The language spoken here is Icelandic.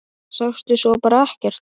Sástu svo bara ekkert?